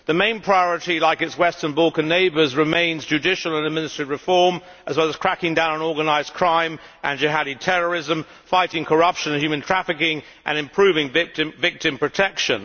The main priority, as for its Western Balkan neighbours, remains judicial and administrative reform, as well as cracking down on organised crime and jihadi terrorism, fighting corruption and human trafficking and improving victim protection.